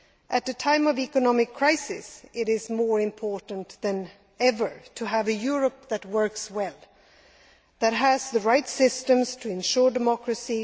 At a time of economic crisis it is more important than ever to have a Europe that works well, that has the right systems to ensure democracy.